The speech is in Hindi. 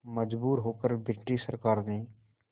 मजबूर होकर ब्रिटिश सरकार ने